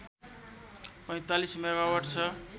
४५ megawatt छ